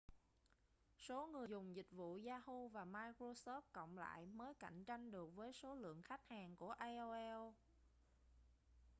số người dùng dịch vụ yahoo và microsoft cộng lại mới cạnh tranh được với số lượng khách hàng của aol